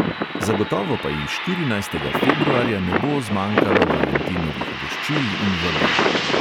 Zagotovo pa ji štirinajstega februarja ne bo zmanjkalo valentinovih voščil in vabil.